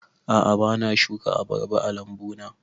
A'a bana shuka abarba a lambu na